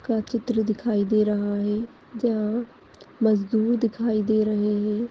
का चित्र दिखाई दे रहा है जहाँ मजदूर दिखाई दे रहे है।